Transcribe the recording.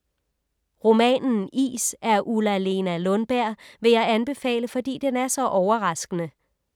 Romanen Is af Ulla-Lena Lundberg, vil jeg anbefale, fordi den er så overraskende.